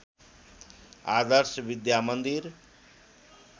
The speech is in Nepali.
आदर्श विद्या मन्दिर